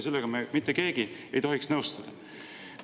Sellega ei tohiks mitte keegi nõustuda.